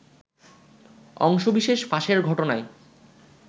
অংশবিশেষ ফাঁসের ঘটনায়